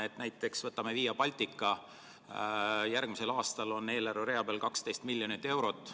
Võtame näiteks Via Baltica – järgmisel aastal on eelarverea peal 12 miljonit eurot.